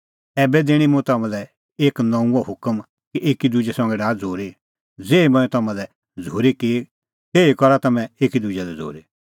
ऐबै दैणीं मुंह तम्हां लै एक नऊंअ हुकम कि एकी दुजै संघै डाहा झ़ूरी ज़ेही मंऐं तम्हां लै झ़ूरी की तेही झ़ूरी करा तम्हैं एकी दुजै लै